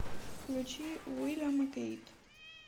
включи уильям и кейт